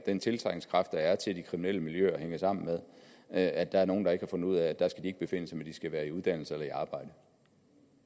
den tiltrækningskraft der er til de kriminelle miljøer hænger sammen med at der er nogle der ikke har fundet ud af at der skal de ikke befinde sig men at de skal være i uddannelse eller i arbejde